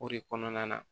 O de kɔnɔna na